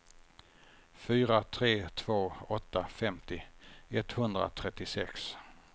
fyra tre två åtta femtio etthundratrettiosex